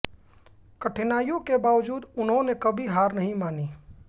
कठिनाइयों के बावजूद उन्होंने कभी हार नहीं मानी